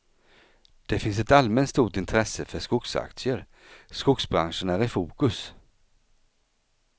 Det finns ett allmänt stort intresse för skogsaktier, skogsbranschen är i fokus.